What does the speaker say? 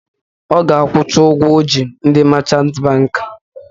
Ọ ga-akwụcha ụgwọ ọ ji ndị machant bankị